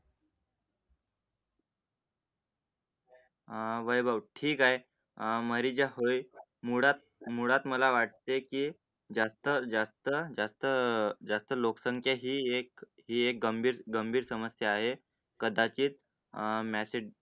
आह वैभव ठीक आहे, आह मरी जे होय मुळात मुळात मला वाटते, की जास्त जास्त जास्त जास्त लोकसंख्या ही एक ही एक गंभीर गंभीर समस्या आहे. कदाचित् आह message